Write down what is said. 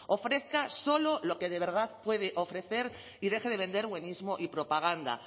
ofrezca solo lo que de verdad puede ofrecer y deje de vender buenismo y propaganda